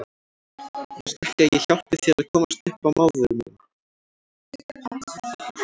Viltu ekki að ég hjálpi þér að komast upp á maður minn.